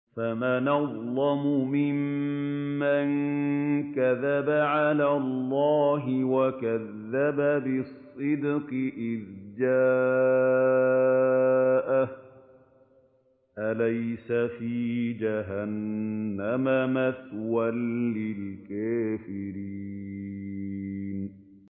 ۞ فَمَنْ أَظْلَمُ مِمَّن كَذَبَ عَلَى اللَّهِ وَكَذَّبَ بِالصِّدْقِ إِذْ جَاءَهُ ۚ أَلَيْسَ فِي جَهَنَّمَ مَثْوًى لِّلْكَافِرِينَ